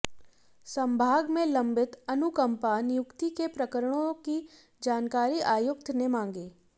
संभाग में लंबित अनुकंपा नियुक्ति के प्रकरणों की जानकारी आयुक्त ने मांगी